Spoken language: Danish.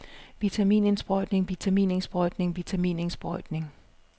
vitaminindsprøjtning vitaminindsprøjtning vitaminindsprøjtning